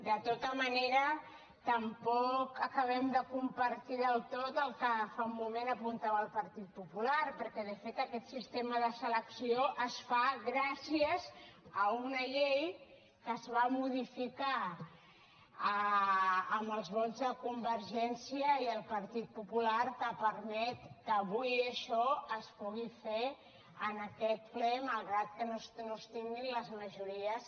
de tota manera tampoc acabem de compartir del tot el que fa un moment apuntava el partit popular perquè de fet aquest sistema de selecció es fa gràcies a una llei que es va modificar amb els vots de convergència i el partit popular que permet que avui això es pugui fer en aquest ple malgrat que no es tinguin les majories